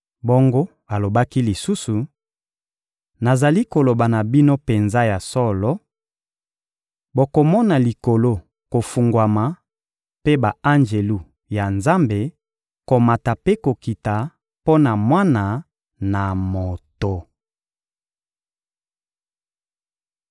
Bongo alobaki lisusu: «Nazali koloba na bino penza ya solo: bokomona Likolo kofungwama, mpe ba-anjelu ya Nzambe komata mpe kokita mpo na Mwana na Moto.»